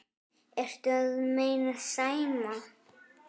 Ertu að meina Sæma?